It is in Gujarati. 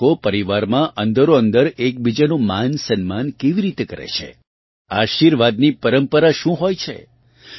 બાળકો પરિવારમાં અંદરોઅંદર એકબીજાનું માનસમ્માન કેવી રીતે કરે છે આશીર્વાદની પરંપરા શું હોય છે